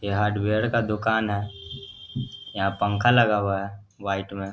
ये हार्डवेयर का दोकान है यहाँ पंखा लगा हुआ है व्हाइट में।